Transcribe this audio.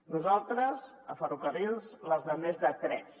nosaltres a ferrocarrils les de més de tres